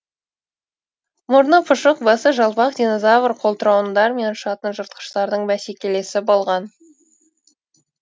мұрны пұшық басы жалпақ динозавр қолтырауындар мен ұшатын жыртқыштардың бәсекелесі болған